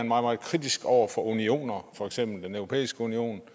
meget kritisk over for unioner for eksempel den europæiske union